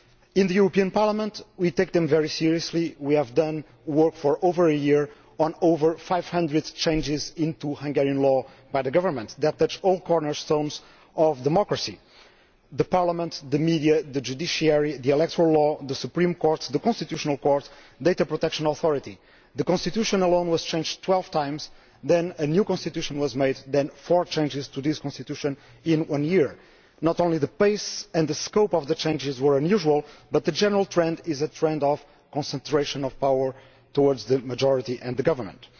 In the European Parliament we take them very seriously, we have done work for over a year examining over 500 changes to Hungarian law by the government, that touch all the cornerstones of democracy the parliament, the media, the judiciary, the electoral law, the Supreme Court, the Constitutional Court, the data protection authority the constitution alone was changed twelve times, then a new constitution was made, then four changes to this constitution, in one year. Not only the pace and the scope of the changes were unusual, but the general trend is one towards concentration of power with the majority and the government.